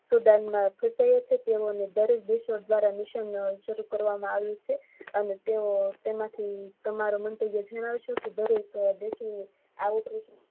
દરેક દેશો દ્વારા મિશન શરુ કરવામાં આવ્યુ છે અને તેમાં થી તમારા મંતવ્ય જણાવો કે દરેક દેશો આ